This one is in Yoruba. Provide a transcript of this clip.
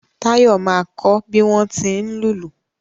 Táyọ̀ máa kọ bí wọ́n tí ń lùlù